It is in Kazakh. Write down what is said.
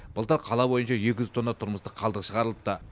былтыр қала бойынша екі жүз тонна тұрмыстық қалдық шығарылыпты